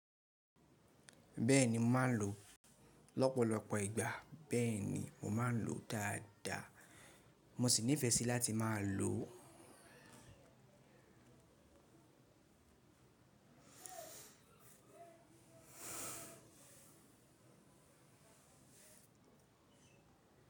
Bẹ́ẹ̀ni, mo máa ń lo, lọ́pọ̀lọpọ̀ ìgbà. Bẹ́ẹ̀ni, mo máa ń lo dáadáa. Mo sì nífẹ̀ẹ́ sí láti máa lo.